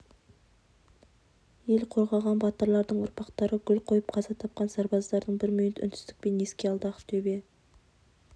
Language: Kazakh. ел қорғаған батырлардың ұрпақтары гүл қойып қаза тапқан сарбаздарды бір минут үнсіздікпен еске алды ақтөбе